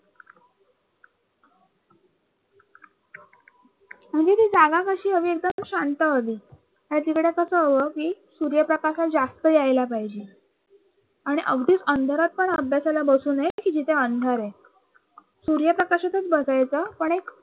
ती जागा कशी हवी एकदम शांत हवी ना तिकडं कस हवं कि सूर्यप्रकाश हा जास्त यायला पाहिजे आणि अगदीच अंधारात पण अभ्यासाला बसू नये कि जिथे अंधार आहे सूर्यप्रकाशातच बसायच पण एक